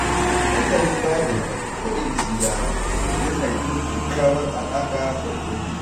Nazarin Bible ko Injila ya na gina kyakkyawar alaƙa da Ubangiji.